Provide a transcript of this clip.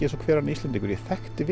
eins og hver annar Íslendingur ég þekkti